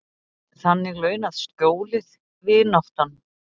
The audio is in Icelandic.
Þannig launað skjólið, vináttan.